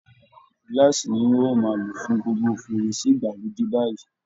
Glass ni wọ́n yóò máa lò fún gbogbo ferese ìgbàlódé báyìí